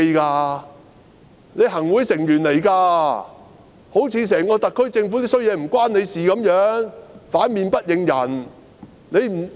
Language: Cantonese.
她是行政會議成員，好像整個特區政府的壞事也跟她無關一樣，反面不認人。